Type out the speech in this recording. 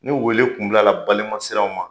Ni wele Kun bilala balima siranw ma